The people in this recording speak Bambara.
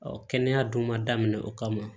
kɛnɛya dun ma daminɛ o kama